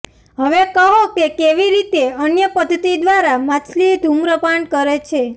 હવે કહો કે કેવી રીતે અન્ય પદ્ધતિ દ્વારા માછલી ધૂમ્રપાન કરે છે